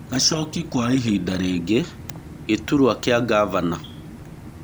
Gacoki Kwa ihinda rĩngĩ gĩturwa kĩa ngavana.